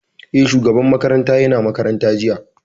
Eh, shugaban makarantar ya na makaranta jiya